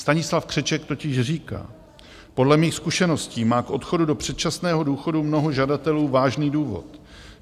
Stanislav Křeček totiž říká - podle mých zkušeností má k odchodu do předčasného důchodu mnoho žadatelů vážný důvod.